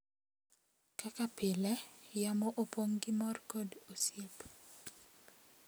Kaka pile, yamo opong’ gi mor kod osiep.